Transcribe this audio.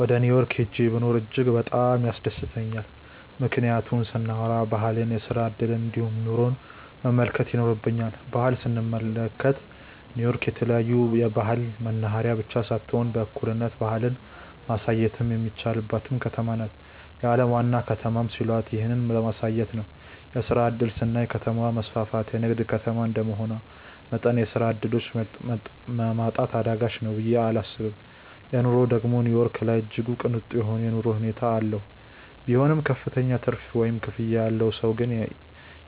ወደ ኒው ዮርክ ሂጄ ብኖር እጅግ በጣም ያስደስተኛል። ምክንያቱን ስናዎራ ባህልን፣ የስራ እድልን እንዲሁም ኑሮን መመልከት ይኖርብኛል። ባህል ስንመለከት ኒው ዮርክ የተለያዮ ባህል መናህሬያ ብቻ ሳትሆን በእኩልነት ባህልን ማሳየትም የሚቻልባትም ከተማ ናት። የአለም ዋና ከተማም ሲሏት ይህንን ለማሳየት ነው። የስራ እድል ስናይ ከተማው መስፍትና የንግድ ከተማ እንደመሆኑ መጠን የስራ ዕድሎች ማጣት አዳጋች ነው ብየ እላስብም። ኑሮ ደግም ኒው ዮርክ ላይ እጅግ ቅንጡ የሆነ የኑሮ ሁኔታ ነው ያለው። ቢሆንም ክፍተኛ ትርፍ ወይም ክፍያ ያለው ሰው ግን